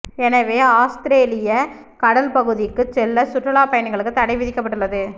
எனவே அவுஸ்திரேலிய கடல் பகுதிக்கு செல்ல சுற்றுலாபயணிகளுக்கு தடை விதிக்கப்பட்டுள்ளது